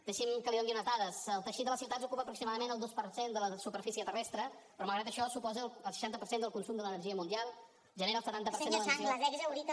deixi’m que li doni unes dades el teixit de les ciutats ocupa aproximadament el dos per cent de la superfície terrestre però malgrat això suposa el seixanta per cent del consum de l’energia mundial genera el setanta per cent de l’emissió